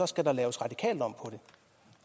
skal der laves radikalt om